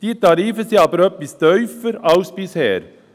Sie sind allerdings etwas tiefer als bisher.